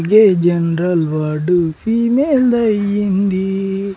A general ward female దయ్యింది.